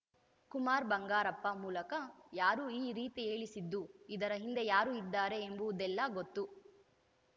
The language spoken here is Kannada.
ಕುಮಾರ್‌ ಬಂಗಾರಪ್ಪ ಮೂಲಕ ಯಾರು ಈ ರೀತಿ ಹೇಳಿಸಿದ್ದು ಇದರ ಹಿಂದೆ ಯಾರು ಇದ್ದಾರೆ ಎಂಬುವುದೆಲ್ಲ ಗೊತ್ತು